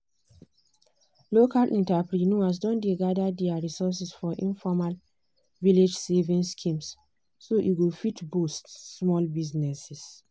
local entrepreneurs don dey gather their resources for informal village savings schemes so e go fit boost small businesses.